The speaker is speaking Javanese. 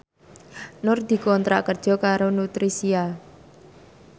Nur dikontrak kerja karo Nutricia